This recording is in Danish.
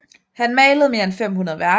Han malede mere end 500 værker